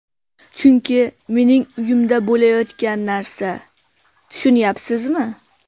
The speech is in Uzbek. Chunki mening uyimda bo‘layotgan narsa, tushunyapsizmi?